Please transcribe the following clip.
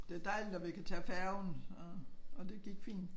Det dejligt at vi kan tage færgen og og det gik fint